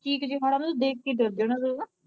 ਚਿੱਖ ਚਿਹਾੜਾ ਨੂੰ ਤਾਂ ਦੇਖ ਕੇ ਡਰ ਜਾਣਾ ਤੂੰ।